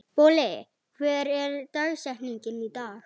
Bolli, hver er dagsetningin í dag?